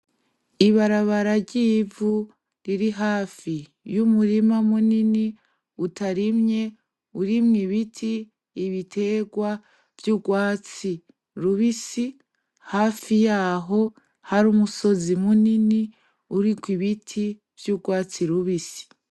Ibarabara ry'ivu riri hafi y'umurima munini utarimye urimo ubiti ibiterwa vy'urwatsi rubisi hafi yaho hari umusozi munini uriko ibiti vy'urwatsi rubisi.